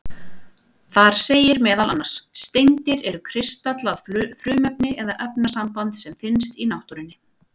Þar segir meðal annars: Steindir eru kristallað frumefni eða efnasamband sem finnst í náttúrunni.